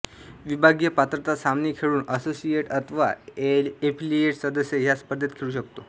विभागीय पात्रता सामने खेळून असोसिएट अथवा एफिलिएट सदस्य ह्या स्पर्धेत खेळू शकतो